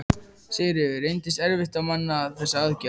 Sigríður: Reyndist erfitt að manna þessa aðgerð?